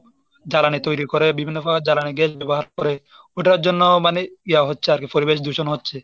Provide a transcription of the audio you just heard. জ্বালানি তৈরী করে বিভিন্ন ভাবে জ্বালানি গ্যাস ব্যবহার করে ওটার জন্য মানে ইয়া হচ্ছে পরিবেশ দূষণ হচ্ছে।